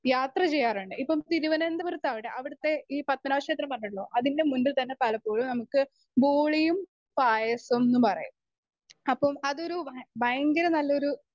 Speaker 1 യാത്ര ചെയ്യാറുണ്ട്. ഇപ്പം തിരുവനന്തപുരത്താവട്ടെ അവിടത്തെ ഈ പത്ഭനാഭ ക്ഷേത്രം പറഞ്ഞല്ലോ അതിൻ്റെ മുമ്പിൽ തന്നെ പാലപ്പോഴും നമുക്ക് പോളിയും പായസംന്ന് പറയും. അപ്പം അതൊരു ബ ബയങ്കര നല്ലൊരു